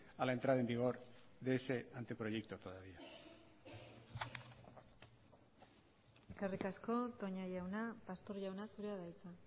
a la entrada en vigor de ese anteproyecto todavía eskerrik asko toña jauna pastor jauna zurea da hitza